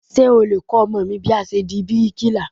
Ṣé o lè kọ́ ọmọ mi bí a ṣe di bíríkìlà?